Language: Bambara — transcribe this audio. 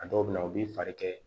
A dɔw bɛ na u b'i fari kɛ